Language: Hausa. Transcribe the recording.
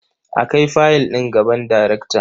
A kai fayil ɗin gaban darekta.